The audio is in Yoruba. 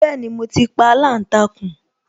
Bẹẹni, mo ti pa aláǹtakùn